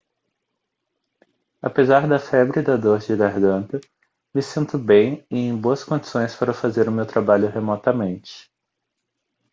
apesar da febre e da dor de garganta me sinto bem e em boas condições para fazer o meu trabalho remotamente